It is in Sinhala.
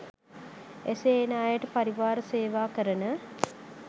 එසේ එන අයට පරිවාර සේවාකරන